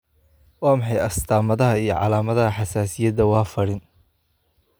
Waa maxay astamaha iyo calaamadaha xasaasiyadda Warfarin?